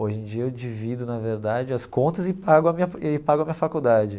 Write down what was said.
Hoje em dia, eu divido, na verdade, as contas e pago a minha e pago a minha faculdade.